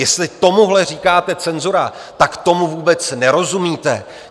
Jestli tomuhle říkáte cenzura, tak tomu vůbec nerozumíte.